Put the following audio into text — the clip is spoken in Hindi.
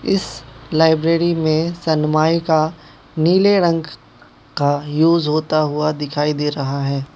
इस लाइब्रेरी में सनमाइका नीले रंग का यूज होता हुआ दिखाई दे रहा है।